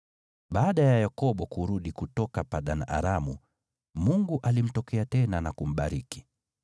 Baada ya Yakobo kurudi kutoka Padan-Aramu, Mungu alimtokea tena na kumbariki.